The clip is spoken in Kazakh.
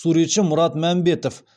суретші мұрат мәмбетов